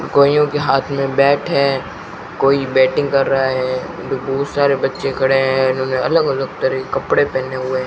कोइयों के हाथ में बैट हैं कोई बैटिंग कर रहा है उधर बोहोत सारे बच्चे खड़े हैं इन्होने अलग अलग तरह के कपड़े पहने हुए --